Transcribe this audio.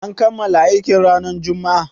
An kammala aikin ranar Juma'a?